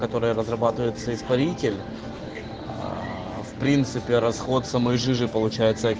которая разрабатывается испаритель в принципе расход самой жижи получается